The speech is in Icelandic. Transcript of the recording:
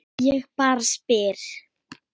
Ég bara spyr